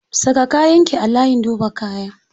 Saka kayan ki a layin duba kaya.